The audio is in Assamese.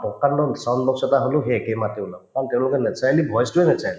প্ৰকাণ্ড sound box এটা হলেও সেই একে মাতে ওলাব কাৰণে তেওঁলোকে naturally voice তোয়ে naturally